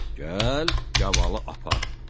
Gəl, gavalı apar,